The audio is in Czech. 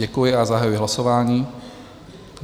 Děkuji a zahajuji hlasování.